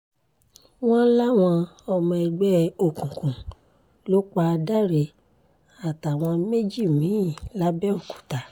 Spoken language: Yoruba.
wọ́n láwọn ọmọ ẹgbẹ́ òkùnkùn ló pa dáre àtàwọn méjì mì-ín làbẹ́òkúta